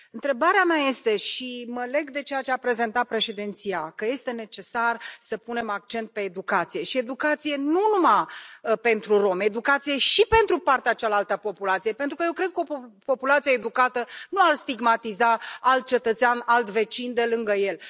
Întrebarea mea este și mă leg de ceea ce a prezentat președinția, că este necesar să punem accent pe educație, și educație nu numai pentru romi, educație și pentru partea cealaltă a populației, pentru că eu cred că o populație educată nu ar stigmatiza alt cetățean, alt vecin de lângă el.